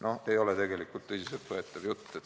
No ei ole ju tegelikult tõsiselt võetav jutt!